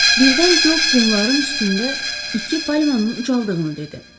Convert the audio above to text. Birdən Co qumların üstündə iki palmanın ucaldığını dedi.